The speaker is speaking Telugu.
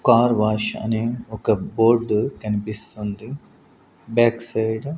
కార్ వాష్ అనే ఒక బోర్డు కనిపిస్తుంది బ్యాక్ సైడ్ .